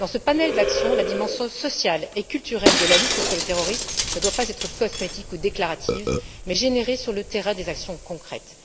Dans ce panel d'actions, la dimension sociale et culturelle de la lutte contre le terrorisme ne doit pas être cosmétique ou déclarative, mais générer sur le terrain des actions concrètes.